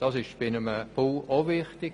Das ist bei einem Bau auch wichtig.